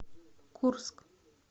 курск